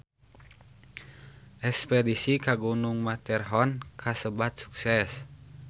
Espedisi ka Gunung Matterhorn kasebat sukses